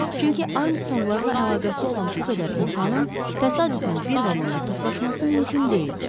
Çünki Armstronqlarla əlaqəsi olan bu qədər insanın təsadüfən bir vaqonda toplaşması mümkün deyildi.